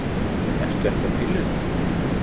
Ertu ekki á pillunni?